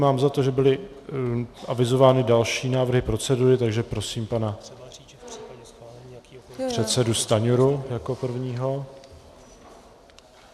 Mám za to, že byly avizovány další návrhy procedury, takže prosím pana předsedu Stanjuru jako prvního.